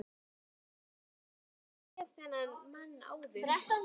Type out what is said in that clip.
Ég hafði aldrei séð þennan mann áður.